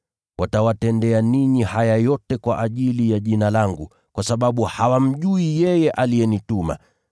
Watawatendea ninyi haya yote kwa ajili ya Jina langu, kwa sababu hawamjui yeye aliyenituma.